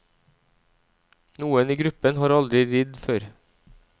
Noen i gruppen har aldri ridd før.